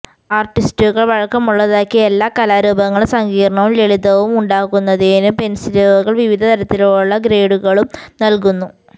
ആർട്ടിസ്റ്റുകൾ വഴക്കമുള്ളതാക്കി എല്ലാ കലാരൂപങ്ങളും സങ്കീർണ്ണവും ലളിതവും ഉണ്ടാക്കുന്നതിനും പെൻസിലുകൾ വിവിധ തരത്തിലുള്ള ഗ്രേഡുകളും നൽകുന്നു